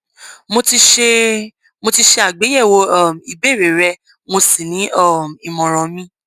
mo ti ṣe mo ti ṣe àgbéyèwò um ìbéèrè rẹ mo sì ní um ìmọràn mi